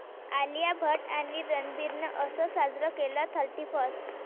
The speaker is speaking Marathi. आलिया भट आणि रणबीरनं 'असं' साजरं केलं थर्टीफर्स्ट